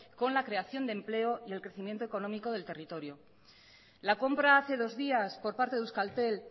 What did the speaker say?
con la creación de empleo y el crecimiento económico del territorio la compra hace dos días por parte de euskaltel